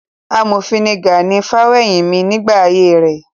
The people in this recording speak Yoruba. Amòfin ni Gani Fawehinmi nígbà ayé rẹ̀.